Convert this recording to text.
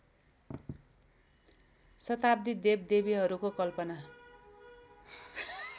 शताब्दी देवदेवीहरूको कल्पना